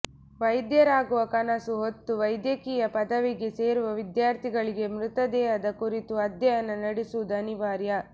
ವೈದ್ಯರಾಗುವ ಕನಸು ಹೊತ್ತು ವೈದ್ಯ ಕೀಯ ಪದವಿಗೆ ಸೇರುವ ವಿದ್ಯಾರ್ಥಿಗಳಿಗೆ ಮೃತ ದೇಹ ಕುರಿತು ಅಧ್ಯಯನ ನಡೆಸುವುದು ಅನಿವಾರ್ಯ